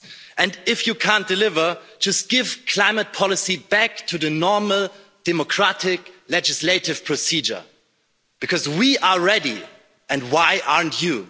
And if you can't deliver, just give climate policy back to the normal democratic legislative procedure because we are ready and why aren't you?